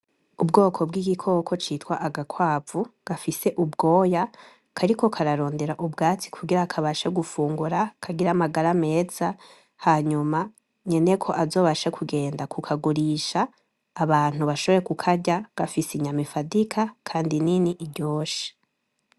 Ubwoko bw’igikoko citwa agakwavu gafise ubwoya kariko kararondera ubwatsi kugira kabashe gufungura kagire amagara meza hanyuma nyeneko azobashe kugenda kukagurisha abantu bashoboye kukarya gafise inyama ifadika kandi nini iryoshe